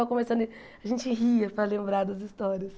Só conversando e a gente ria para lembrar das histórias.